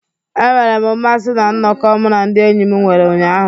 Enwere m mmasị na nnọkọ mụ na ndị enyi m nwere ụnyaahụ.